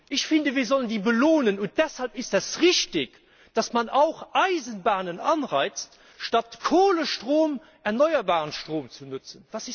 Ich finde, wir sollen die belohnen, und deshalb ist es richtig, dass man auch Anreize für Eisenbahnenschafft, statt Kohlestrom erneuerbaren Strom zu nutzen.